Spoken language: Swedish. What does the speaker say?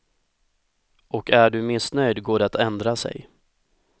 Och är du missnöjd går det att ändra sig.